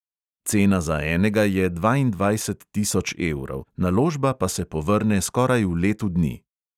Cena za enega je dvaindvajset tisoč evrov, naložba pa se povrne skoraj v letu dni.